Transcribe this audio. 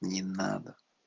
не надо